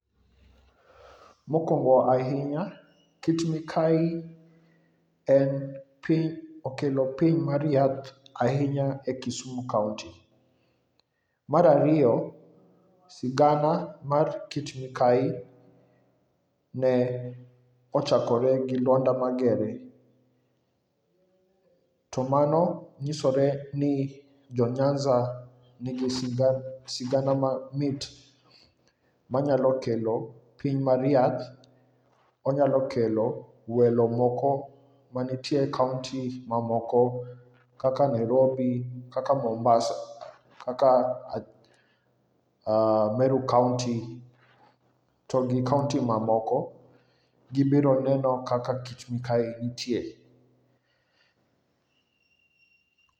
Mokwongo ahinya, kit mikayi okelo piny mar yath ahinya e Kisumu kaonti. Mar ariyo, sigana mar kit mikayi ne ochakore gi lwanda Magere, to mano nyisore ni jo Nyanza nigi sigana mamit, manyalo kelo piny mar yath, onyalo kelo welo moko manitie e kaonti mamoko kaka Nairobi, kaka Mombasa, kaka Meru kaonti, to gi kaonti mamoko, gibiro neno kaka tik mikayi nitie.